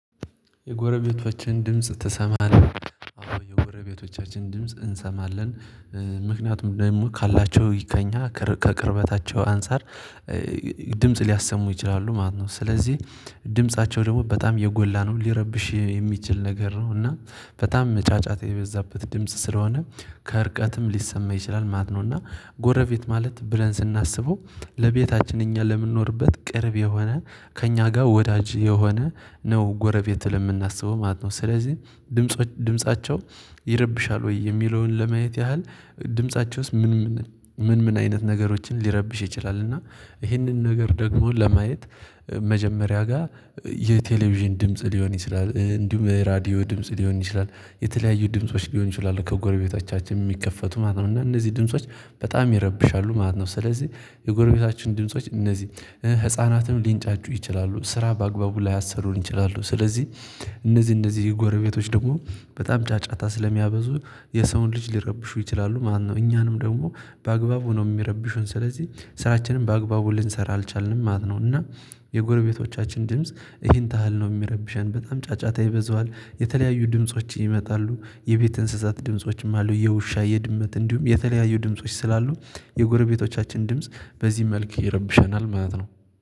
የጎረቤቶችን ድምጽ ትሰማለህ? አዎ የጎረቤቶቻችን ድምጽ እንሰማለን። ምክንያቱም ደግሞ ካላቸው ይከኛ ከቅርበታቸው አንፃር። ድምጽ ሊያሰሙ ይችላሉ ማለት ነው። ስለዚህ ድምፃቸው ደግሞ በጣም የጎላ ነው ሊረብሽ የሚችል ነገር ነው። እና በጣም መጫጫት የበዛበት ድምጽ ስለሆነ ከእርቀትም ሊሰማ ይችላል ማት ነው። እና ጎረቤት ማለት ብለን ስናስበው ለቤታችን እኛ ለምንኖርበት ቅርብ የሆነ ከእኛ ጋር ወዳጅ የሆነ ነው ጎረቤት ለምናስበው ማለት ነው። ስለዚህ ድምፃቸው ይረብሻል ወይ የሚለውን ለማየት ያህል ድምፃቸውስ ምን ምን አይነት ነገሮችን ሊረብሽ ይችላል? እና ይሄንን ነገር ደግሞ ለማየት መጀመሪያ ጋር የቴሌቪዥን ድምጽ ሊሆን ይችላል። እንዲሁም ራዲዮ ድምጽ ሊሆን ይችላል የተለያዩ ድምጾች ሊሆን ይችላል ከጎረቤታችን የሚከፈቱ ማለት ነው። እና እነዚህ ድምጾች በጣም ይረብሻሉ ማለት ነው። ስለዚህ የጎረቤታችን ድምጾች እነዚህ ህፃናትም ሊንጫጩ ይችላሉ ስራ በአግባቡ ላያ ሰሩን ይችላሉ። ስለዚህ እነዚህ እነዚህ ጎረቤቶች ደግሞ በጣም ጫጫታ ስለሚያበዙ የሰውን ልጅ ሊረብሹ ይችላሉ። ማነው እኛንም ደግሞ በአግባቡ ነው የሚረብሹን ስለዚህ ስራችንን በአግባቡ ልንሰራ አልቻልንም ማለት ነው። እና የጎረቤቶቻችን ድምጽ ይሄን ታህል ነው የሚረብሸን በጣም ጫጫታ ይበዛዋል። የተለያዩ ድምጾች ይመጣሉ የቤት እንስሳት ድምፆችም አሉ። የውሻ የድመት እንዲሁም የተለያዩ ድምጾች ስላሉ የጎረቤቶቻችን ድምጽ በዚህ መልክ ይረብሸናል ማለት ነው።